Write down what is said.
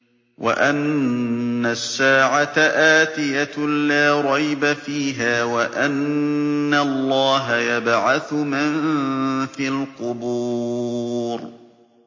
وَأَنَّ السَّاعَةَ آتِيَةٌ لَّا رَيْبَ فِيهَا وَأَنَّ اللَّهَ يَبْعَثُ مَن فِي الْقُبُورِ